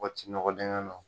K'o ci nɔgɔ dingɛ nɔ